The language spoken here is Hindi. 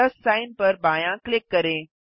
प्लस सिग्न पर बायाँ क्लिक करें